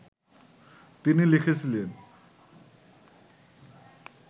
তিনি লিখেছিলেন